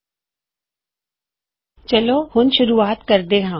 ਹੁਣ ਮੈਂ ਜੋ ਕਹਿਣਾ ਚਾਹੁੰਦਾ ਹਾਂ ਮੈਨੂੰ ਉਸਦੀ ਸ਼ੁਰਵਾਤ ਤੋਂ ਸ਼ੁਰੂ ਕਰਨ ਦਿਉ